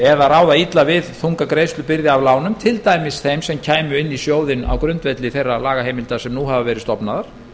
eða ráða illa við þunga greiðslubyrði af lánum til dæmis þeim sem kæmu inn í sjóðinn á grundvelli þeirra lagaheimilda sem nú hafa verið stofnaðar